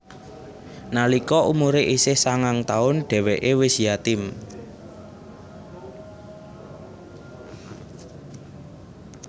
Nalika umure isih sangang taun dheweke wis yatim